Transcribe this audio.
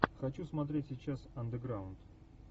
хочу смотреть сейчас андеграунд